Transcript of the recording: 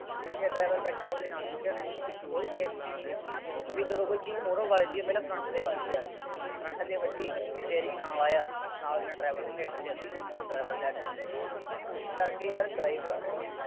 ਜਿੱਥੇ driver ਬੈਠਿਆ, ਉਹਦੇ ਨਾਲ ਇੰਜਣ ਹੈ। ਕੋਈ safety ਨਹੀਂ ਜੇ ਹੁੰਦੀ। ਬਈ ਜਦੋਂ ਕੋਈ ਚੀਜ਼ ਮੂਹਰੋਂ ਵੱਜਦੀ ਹੈ, ਪਹਿਲਾਂ front ਤੇ ਵੱਜਦੀ ਹੈ। front ਤੇ ਵੱਜੀ, ਸਟੇਅਰਿੰਗ ਨਾਲ ਆਇਆ, ਨਾਲ ਦੀ ਨਾਲ driver ਦੇ ਢਿੱਡ ਚ, driver dead ਇਸ ਕਰਕੇ ਯਾਰ driver ਨੂੰ